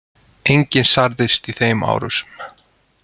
Enginn særðist í þeim árásum